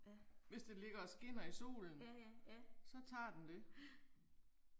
Hvis det ligger og skinner i solen. Så tager den det